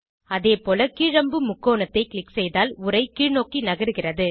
அதேபோல கீழ் அம்பு முக்கோணத்தை க்ளிக் செய்தால் உரை கீழ்நோக்கி நகருகிறது